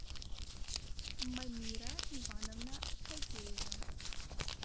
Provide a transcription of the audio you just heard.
манира ивановна фадеева